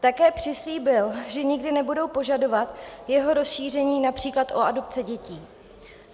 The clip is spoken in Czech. Také přislíbil, že nikdy nebudou požadovat jeho rozšíření například o adopci dětí.